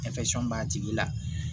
b'a tigi la